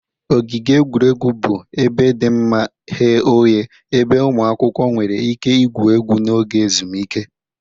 Ogige egwuregwu bụ ebe dị mma ghe oghe ebe ụmụ akwụkwọ nwere ike igwu egwu n'oge ezumike